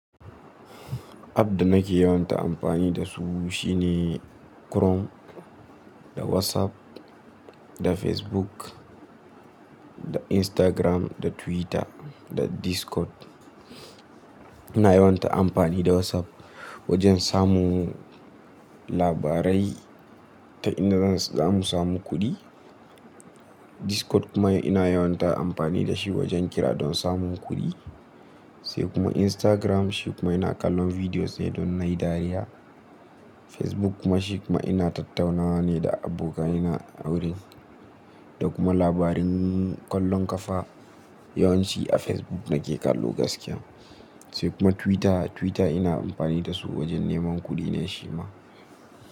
App da nake yawanta amfani da su shine krom, da WhatsApp, da Facebook, da Instagram, da Twitter, da Discord. Ina yawanta amfani da WhatsApp wajen samun labarai ta inda za mu samu kuɗi. Discord kuma ina yawanta amfani da shi wajen kira don samun kuɗi. Sai kuma Instagram shi kuma ina kallon bidiyo sai don nai dariya. Facebook kuma shi kuma ina tattaunawa ne da abokaina wurin, da kuma labarin kallon kafa yawanci a Facebook nake kallo gaskiya. Sai kuma Twitter, Twitter ina amfani da su wajen neman kuɗi ne shi ma.